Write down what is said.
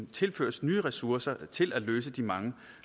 tilføres nye ressourcer til at løse de mange